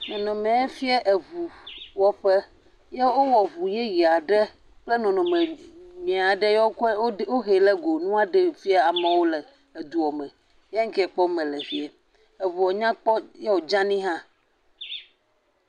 nɔnɔme ya fie eʋu wɔƒe ye wowɔ ʋu yɛyɛaɖe kple nɔnɔme nyuiaɖe ye wokɔe woɖɛ hɛ go kɔ le amoɔ fiam le eduɔ me ya ŋkɛ kpɔm mele le fie eʋuɔ nyakpɔ ye wò dzani hã